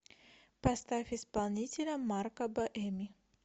поставь исполнителя марко боэми